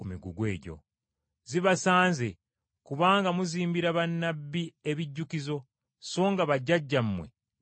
“Zibasanze! Kubanga muzimbira bannabbi ebijjukizo, so nga bajjajjammwe be baabatta.